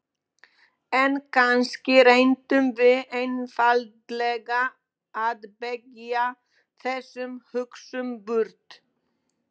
En kannski reyndum við einfaldlega að bægja þessum hugsunum burt.